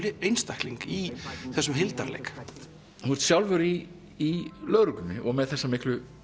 einstakling í þessum hildarleik þú ert sjálfur í lögreglunni og með þessa miklu